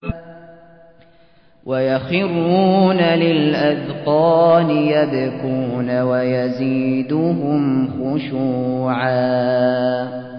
وَيَخِرُّونَ لِلْأَذْقَانِ يَبْكُونَ وَيَزِيدُهُمْ خُشُوعًا ۩